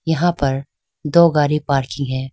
यहां पर दो गाड़ी पार्क की है।